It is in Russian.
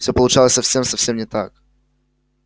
все получалось совсем совсем не так